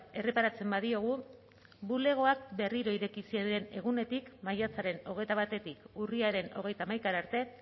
erreparatzen badiogu bulegoak berriro ireki ziren egunetik maiatzaren hogeita batetik urriaren hogeita hamaikara arte